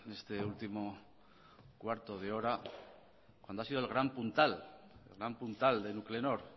en este último cuarto de hora cuando ha sido el gran puntal de nuclenor